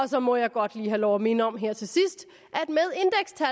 så må jeg godt lige have lov at minde om her til sidst